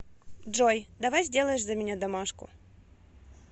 джой давай сделаешь за меня домашку